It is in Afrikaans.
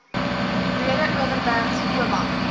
breede overberg oba